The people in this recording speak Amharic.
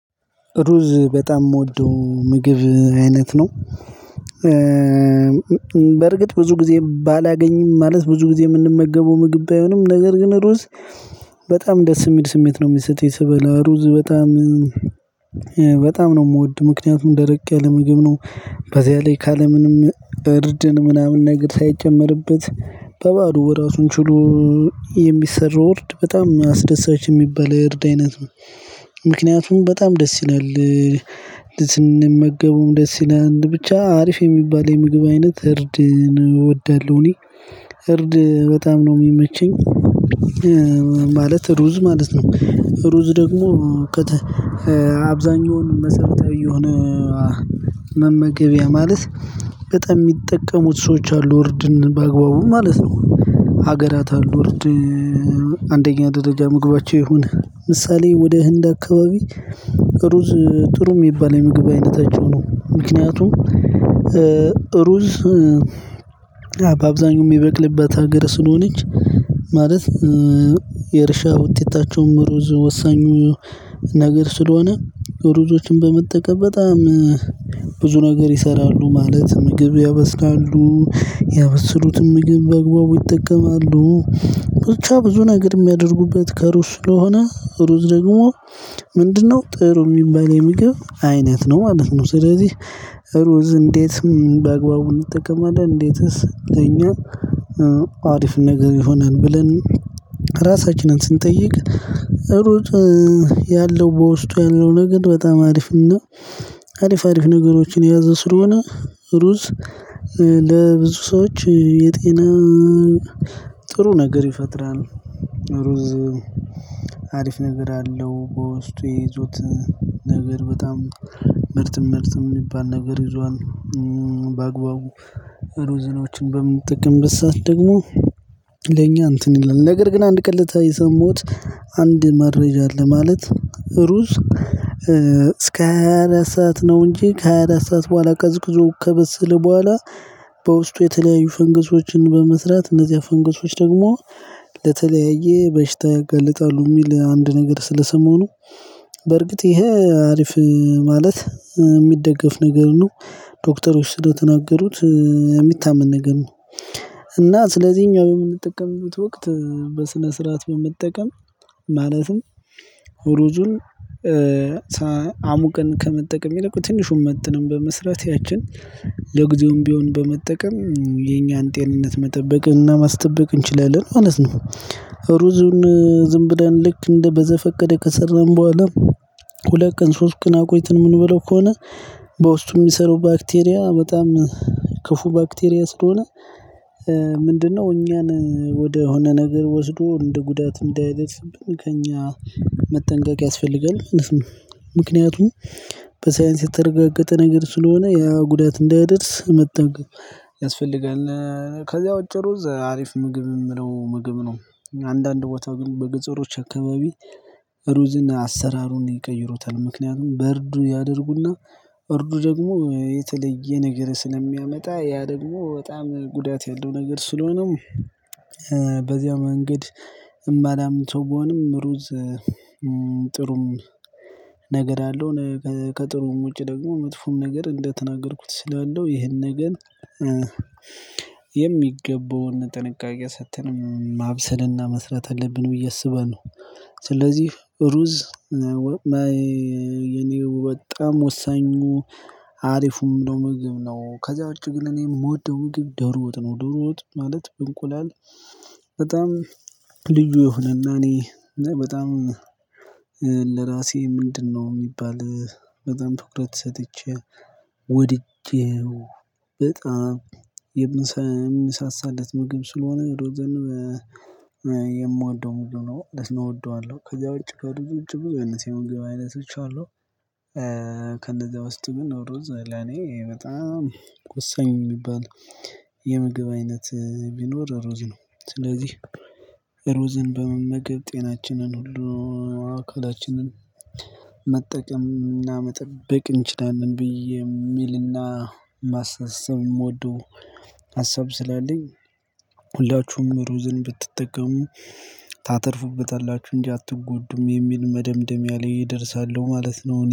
ሩዝ በጣም የምወደው ምግብ አይነት ነው። በርግጥ ብዙ ጊዜ ባላገኝም ማለት ብዙ ጊዜ የምንመገበው ምግብ ባይሆንም ነገር ግን ሩዝ በጣም ደስ የሚል ስሜት ነው የሚሰጥህ ስበላ ሩዝ በጣም በጣም ነው የምወድ ምክንያቱም ደረቀ ለምግብ ነው። በዚህ ላይ ካለ ምንም እርድን ምናምን ነገር ሳይጨመርበት በባዶ ራሱን ችሎ። እርድ በጣም አስደሳች የሚባል እርድ አይነት ነው። ምክንያቱም በጣም ደስ ይላል ስንመገበውም ደስ ይላል ብቻ አሪፍ የሚባል የምግብ አይነት እርድን እወዳለሁ። እኔ እርድ በጣም ነው የሚመቸኝ ማለት ሩዝ ማለት ነው። ሩዝ ደግሞ አብዛኛውን መሰረታዊ የሆነ መመገቢያ ማለት በጣም የሚጠቀሙት ሰዎች አሉ ወርድን በአግባቡ ማለት ነው። ሀገራት አሉ አንደኛ ደረጃ ምግባቸው ይሁን ምሳሌ ወደ ህንድ አካባቢ ጥሩ ጥሩ የሚባል የምግብ አይነታቸው ነው ምክንያቱም። ሩዝ በአብዛኛው የሚበቅልበት ሀገር ስለሆነች ማለት የእርሻ ውጤታቸውም ሩዝ ወሳኙ ነገር ስለሆነ ሩዞችን በመጠቀም በጣም ብዙ ነገር ይሰራሉ። ማለት ምግብ ያበስካሉ ያበስሉትን ምግብ በአግባቡ ይጠቀማሉ። ብቻ ብዙ ነገር የሚያደርጉበት ከሩዝ ስለሆነ ሩዝ ደግሞ ምንድነው ጥሩ የሚባል የሚገብ አይነት ነው ማለት ነው። ስለዚህ ሩዝ እንዴት በአግባቡ እንጠቀማለን? እንዴትስ እኛ አሪፍ ነገር ቢሆነን ብለን ራሳችንን ስንጠይቅ ሩጥ ያለው በውስጡ ያለው ነገር በጣም አሪፍ ነው። አሪፍ አሪፍ ነገሮችን የያዘ ስለሆነ ሩዝ ለብዙ ሰዎች የጤና ጥሩ ነገር ይፈጥራል። ሩዝ አሪፍ ነገር አለው በውስጡ የይዞት ነገር በጣም ምርትም ምርትም የሚባል ነገር ይዟል። በአግባቡ ሩዝኖችን በምን ጥቅም ብሰአት ደግሞ ለእኛ እንትን ይላል ነገር ግን አንድ ቀለታ የሰሙት አንድ መረጃ አለ። ማለት ሩዝ እስከ ሃያ አራት ሰዓት ነው እንጂ ከሃያ አራት ሰዓት በኋላ ቀዝቅዞ ከበስል በኋላ በውስጡ የተለያዩ ፈንግሶችን በመስራት እነዚህ ፈንግሶች ደግሞ ለተለያየ በሽታ ይገልጣሉ የሚል አንድ ነገር ስለሰሞኑ። በርግጥ ይሄ አሪፍ ማለት የሚደገፍ ነገር ነው። ዶክተሮች ስለተናገሩት የሚታመን ነገር ነው። እና ስለዚህ እኛ በምንጠቀምበት ወቅት በስነ ስርዓት በመጠቀም ማለትም ሩዙን አሙቀን ከመጠቀም የለቁ ትንሹን መጥነን በመስራት ያችን ለጊዜውም ቢሆን በመጠቀም የኛን ጤንነት መጠበቅን እና ማስጠበቅ እንችላለን ማለት ነው። ሩዙን ዝም ብለን ልክ እንደ በዘፈቀደ ከሰራን በኋላ ሁለት ቀን ሶስት ቀን አቆይተን ምን ብለው ከሆነ በውስጡ የሚሰሩ ባክቴሪያ በጣም ክፉ ባክቴሪያ ስለሆነ ምንድነው እኛን ወደሆነ ነገር ወስዶ እንደ ጉዳት እንደ ከእኛ መጠንቀቅ ያስፈልጋል። ምክንያቱም በሳይንስ የተረጋገጠ ነገር ስለሆነ ያ ጉዳት እንዳይደርስ እድር መጠገብ ያስፈልጋል። ከዛ በጨሩዝ አሪፍ ምግብ የምለው ምግብ ነው። አንዳንድ ቦታ ግን በግጥሮች አካባቢ ሩዝን አሰራሩን ይቀይሮታል ምክንያቱም በርዱ ያደርጉና በርዱ ደግሞ የተለየ ነገር ስለሚያመጣ ያ ደግሞ በጣም ጉዳት ያለው ነገር ስለሆነም። በዚያው መንገድ እማላምን ሰው ብሆንም ሩዝ ጥሩም ነገር አለው። ከጥሩም ውጪ ደግሞ መጥፎም ነገር እንደተናገርኩት ስላለው ይሄንን ግን የሚገባውን ጥንቃቄ ሰጥተን ማብሰልና መስራት አለብን ብዬ አስበን ነው። ስለዚህ ሩዝ እኔ በጣም ወሳኙ አሪፉም ነው ምግብ ነው። ከዛ ውጭ ግን እኔም የምወደው ውግብ ደሮት ነው። ደሮት ማለት ብንቁላል በጣም ልዩ የሆነና እኔ በጣም ለራሴ ምንድነው የሚባል በጣም ፍቅረት ሰጥቼ ወድጄው በጣም የምንሳሳለት ምግብ ስለሆነ። የምዋደው ሙሉ ነው ማለት እወደዋለሁ። ከዛ ውጪ በሩዝ ውጭ ብዙ አይነት የምግብ አይነቶች አሉ። ከነዛ ውስጥ ምን ሩዝ ለኔ በጣም ቆሰኝ የሚባል የምግብ አይነት ቢኖር ሩዝ ነው። ስለዚህ ሩዝን በመመገብ ጤናችንን ሁሉ አካላችንን መጠቀምና መጠበቅ እንችላለን። ብዬ የሚልና ማስተሰብ የምወደው ሀሳብ ስላለኝ ሁላችሁም ሩዝን ብትጠቀሙ ታተርፉበታላችሁ እንዲህ አትጎዱም የሚል መደምደሚያ ላይ እደርሳለሁ ማለት ነው